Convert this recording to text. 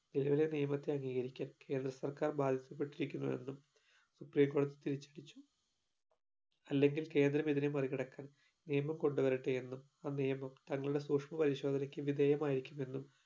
നിലവിലെ നിയമത്തെ അംഗീകരിക്കാൻ കേന്ദ്ര സർക്കാർ ബാധിക്കപ്പെട്ടിരിക്കുന്നു എന്നും supreme കോടതി തിരിച്ചടിച്ചു അല്ലെങ്കിൽ കേന്ദ്രം ഇതിനെ മറികടക്കാൻ നിയമം കൊണ്ട് വരട്ടെ എന്നും ആ നിയമം തങ്ങളുടെ സൂക്ഷ്മ പരിശോധനയ്ക്ക് വിധേയ മായിരിക്കും എന്നും